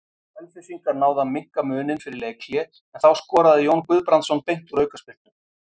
Selfyssingar náðu að minnka muninn fyrir leikhlé en þá skoraði Jón Guðbrandsson beint úr aukaspyrnu.